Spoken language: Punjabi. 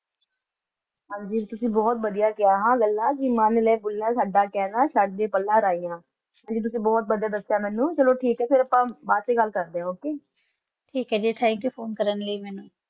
ਇਹ ਗੀਤ ਲੰਬੇ ਸਮੇਂ ਤੱਕ ਕਾਲੇ ਸੰਸਾਰ ਨੂੰ ਛੱਡ ਗਏ